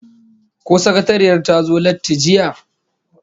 Ko sakatariyar ta zo latti jiya?